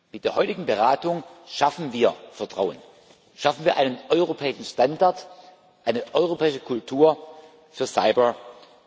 Mit der heutigen Beratung schaffen wir Vertrauen, wir schaffen einen europäischen Standard, eine europäische Kultur für Cybersicherheit.